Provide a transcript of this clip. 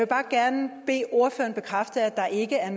bare gerne bede ordføreren bekræfte at der ikke er